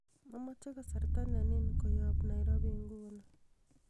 amoje kasarta nenin koyob nairobi inguni